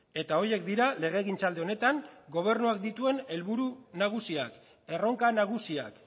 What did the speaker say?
eta horiek dira legegintzaldi honetan gobernuak dituen helburu nagusiak erronka nagusiak